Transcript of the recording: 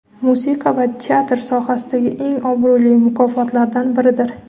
musiqa va teatr sohasidagi eng obro‘li mukofotlaridan biridir.